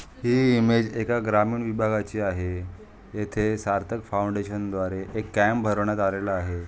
ही image एका ग्रामीण विभागाची आहे. येथे सार्थक फाऊंडेशन द्वारे एक कॅम्प भरवण्यात आलेल आहे.